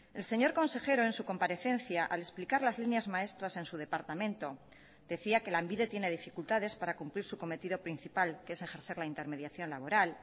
el señor consejero en su comparecencia al explicar las líneas maestras en su departamento decía que lanbide tiene dificultades para cumplir su cometido principal que es ejercer la intermediación laboral